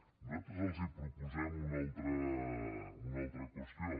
nosaltres els proposem una altra qüestió